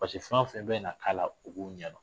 fɛn o fɛn bɛ na k'a la u b'o ɲɛdɔn